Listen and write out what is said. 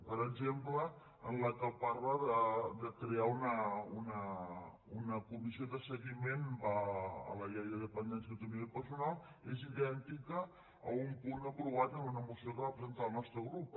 per exemple la que parla de crear una comissió de seguiment de la llei de dependència i autonomia personal és idèntica a un punt aprovat en una moció que va presentar el nostre grup